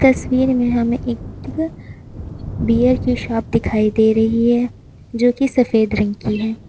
तस्वीर में हमें एक बियर की शॉप दिखाई दे रही है जो कि सफ़ेद रंग की है।